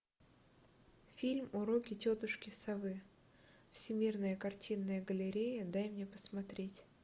фильм уроки тетушки совы всемирная картинная галерея дай мне посмотреть